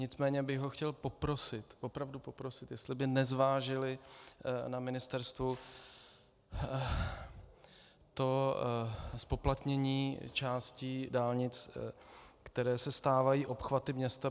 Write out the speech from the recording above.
Nicméně bych ho chtěl poprosit, opravdu poprosit, jestli by nezvážili na ministerstvu to zpoplatnění částí dálnic, které se stávají obchvaty města.